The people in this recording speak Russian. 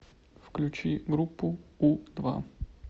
включи группу у два